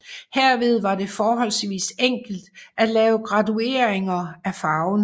Herved var det forholdsvis enkelt at lave gradueringer af farven